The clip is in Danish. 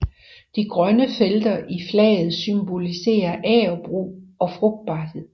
De grønne felter i flaget symboliserer agerbrug og frugtbarhed